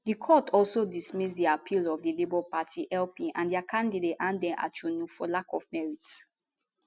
di court also dismiss di appeal of di labour party lp and dia candidate athan achonu for lack of merit